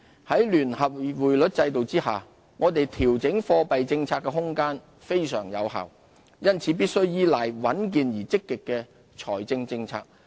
在聯繫匯率制度下，我們調整貨幣政策的空間非常有限，因此必須依賴穩健而積極的財政政策。